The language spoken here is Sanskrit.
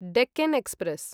डेक्कन् एक्स्प्रेस्